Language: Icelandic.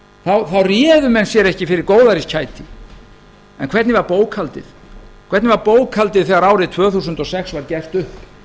þá réðu menn sér ekki fyrir góðæriskæti en hver var bókhaldið þegar árið tvö þúsund og sex var gert upp